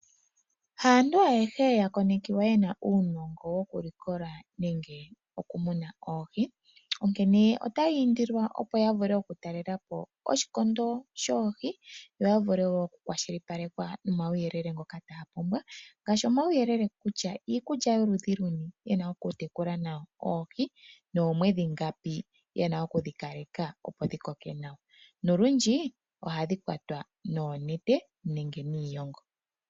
Haantu ayehe yakonekiwa yena uunongo wokulikola nenge woku muna oohi .Onkene otaya indilwa opo yavule oku talelapo oshikondo shoohi yo yavule woo oku kwashilipalekwa nomawuyelele ngoka taya mono, ngaashi omawuyelele kutya iikulya yoludhi luni yena okutekula nawo oohi noomwedhi ngapi yena okudhi kaleka opo dhi koke nawa nolundji ohadhi kwatwa noonete nenge niishongo.